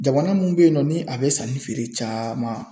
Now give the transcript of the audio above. Jamana mun beyinnɔ ni a be sanni feere caman.